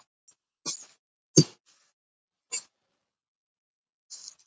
Svipað gerist í atómi eða sameind.